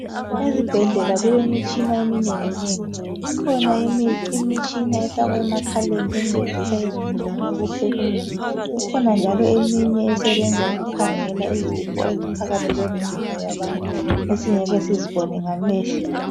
Ezibhedlela kulemitshina eminengi nengi ikhona imitshina efakwa emakhaleni encedisa izigulane ukuphefumula ikhona njalo eminye esebenza ukukhangela izifo eziphakathi kwemizimba yabantu esingeke sizibone ngamehlo.